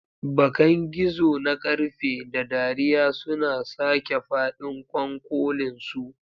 Bakan gizo na ƙarfe, da dariya suna sake faɗin ƙwanƙolinsu.